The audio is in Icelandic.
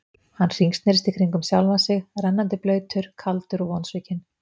Hann hringsnerist í kringum sjálfan sig, rennandi blautur, kaldur og vonsvikinn.